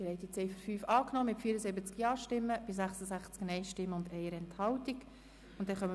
Sie haben die Ziffer 5 mit 74 Ja- gegen 66 Nein-Stimmen bei 1 Enthaltung angenommen.